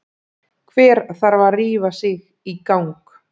Hver þarf að rífa sig í gang?